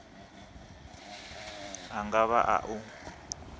a nga vha a u